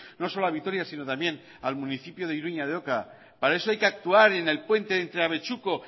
no solo a vitoria sino también al municipio de iruña de oca para eso hay que actuar en el puente entre abechuco